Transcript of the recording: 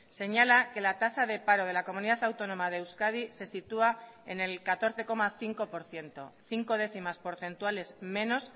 señala que la tasa de paro de la comunidad autónoma de euskadi se sitúa en el catorce coma cinco por ciento cinco décimas porcentuales menos